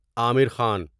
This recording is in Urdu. عامر خان